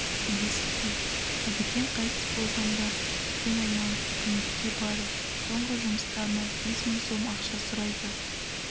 білесіз бе әбікен қайтыс болғанда шәкен айманов үкіметке барып соңғы жұмыстарына бес мың сом ақша сұрайды